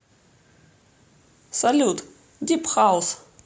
салют дип хаус